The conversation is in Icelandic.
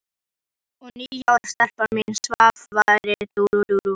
Og níu ára stelpan mín svaf vært í rúminu.